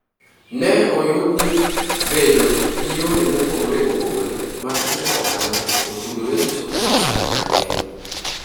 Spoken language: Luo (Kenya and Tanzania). Ne oyud ni bedo gi yore mopogore opogore mag timo ohala otudore gi choko pesa mang'eny.